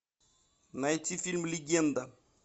найти фильм легенда